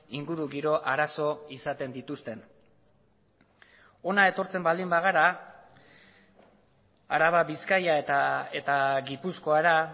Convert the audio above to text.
ingurugiro arazo izaten dituzten hona etortzen baldin bagara araba bizkaia eta gipuzkoara